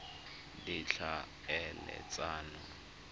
ditlhaeletsano